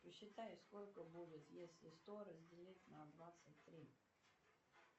посчитай сколько будет если сто разделить на двадцать три